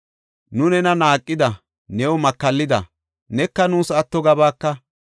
Nu nena naaqida; new makallida; neka nuus atto gabaaka.